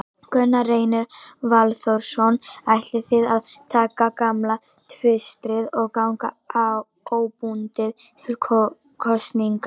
Gunnar Reynir Valþórsson: Ætlið þið að taka gamla tvistið og ganga óbundið til kosninga?